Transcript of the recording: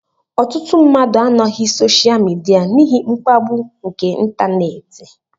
Ọtụtụ mmadụ anọghị soshaal midia n'ihi mkpagbu nke ịntanetị